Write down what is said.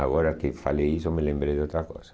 Agora que falei isso, me lembrei de outra coisa.